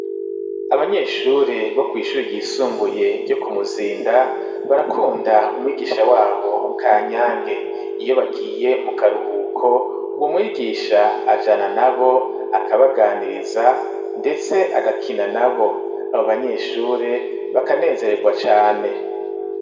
Abanyeshure bo kw'ishure ryisumbuye ryo Kumuzinda barakunda umwigisha wabo Kanyange, iyo bagiye mu karuhuko uwo mwigisha ajana na bo akabaganiriza ndetse agakina na bo, abo banyeshure bakanezeregwa cane.